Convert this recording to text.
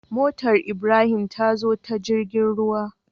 Motar ibrahim tazo ta jirgin ruwa